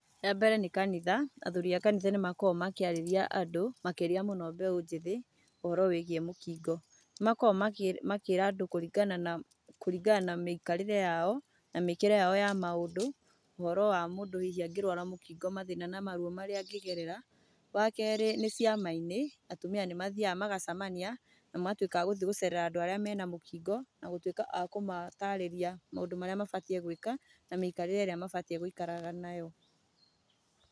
Ya mbere nĩ kanitha, athuri a kanitha nĩ makoragwo makĩarĩria andũ, makĩria mũno mbeũ njĩthĩ ũhoro wĩigiĩ mũkingo. Nĩ makoragwo makĩra andũ kũringana na, kũringana na mĩikarĩre yao na mĩkĩre yao ya maũndũ ũhoro wa mũndũ hihi angĩrwara mũkingo mathĩna na maruo marĩa angĩgerera. Wakerĩ nĩ ciama-inĩ, atumia nĩ mathiaga na magacamania, na magatuĩka a gũthiĩ gũcerera andũ arĩa marĩ na mũkingo, na gũtuĩka a kũmatarĩria maũndũ marĩa mabatiĩ gwĩka, na mĩikarĩre ĩrĩa mabatiĩ gwĩkaraga nayo.